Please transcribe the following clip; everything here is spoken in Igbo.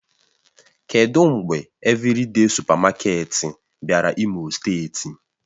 Kedụ mgbe Evịrịde sụpamaketi bịara imo steeti?